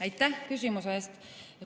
Aitäh küsimuse eest!